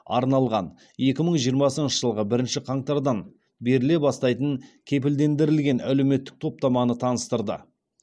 арналған екі мың жиырмасыншы жылғы бірінші қаңтардан беріле бастайтын кепілдендірілген әлеуметтік топтаманы таныстырды